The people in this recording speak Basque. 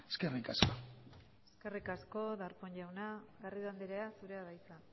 eskerrik asko eskerrik asko darpón jauna garrido andrea zurea da hitza